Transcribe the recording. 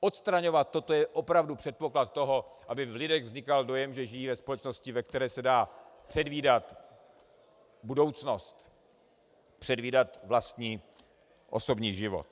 Odstraňovat toto je opravdu předpoklad toho, aby v lidech vznikal dojem, že žijí ve společnosti, ve které se dá předvídat budoucnost, předvídat vlastní osobní život.